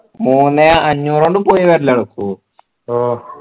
മൂന്നേ അഞ്ഞൂറിൽ പോയിവരൽ നടക്കുഓ ഓ